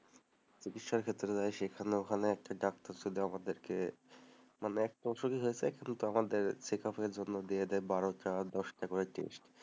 চিকিৎসার ক্ষেত্রে ওখানে একটা ডাক্তার ছিল আমাদেরকে মানে এক বছরই checkup জন্য দিয়ে দেয় বারো চার দশটা করে টেস্ট,